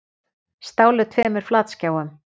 Stálu tveimur flatskjáum